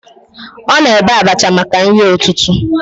Ọ na-ebe abacha maka nri ụtụtụ